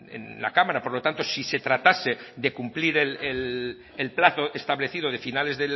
en la cámara por lo tanto si se tratase de cumplir el plazo establecido de finales